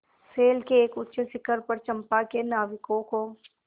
शैल के एक ऊँचे शिखर पर चंपा के नाविकों को